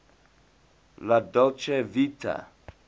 la dolce vita